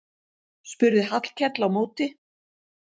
spurði Hallkell á móti.